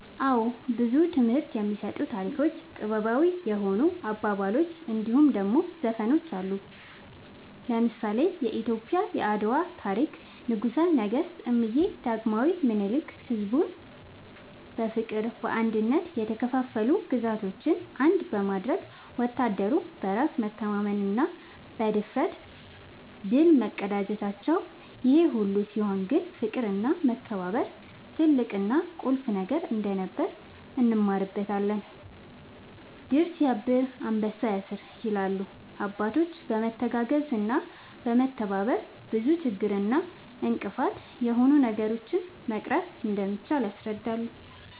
አወ ብዙ ትምህርት የሚሰጡ ታሪኮች ጥበባዊ የሆኑ አባባሎች እንድሁም ደሞ ዘፈኖች አሉ። ለምሳሌ :-የኢትዮጵያ የአድዋ ታሪክ ንጉሰ ነገስት እምዬ ዳግማዊ ምኒልክ ሕዝቡን በፍቅርና በአንድነት የተከፋፈሉ ግዛቶችን አንድ በማድረግ ወታደሩም በራስ መተማመንና ብድፍረት ድል መቀዳጀታቸውን ይሄ ሁሉ ሲሆን ግን ፍቅርና መከባበር ትልቅና ቁልፍ ነገር እንደነበር እንማርበታለን # "ድር ስያብር አንበሳ ያስር" ይላሉ አባቶች በመተጋገዝና በመተባበር ብዙ ችግር እና እንቅፋት የሆኑ ነገሮችን መቅረፍ እንደሚቻል ያስረዳሉ